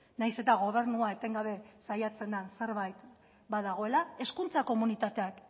nahiz eta gobernua etengabe saiatzen den zerbait badagoela hezkuntza komunitateak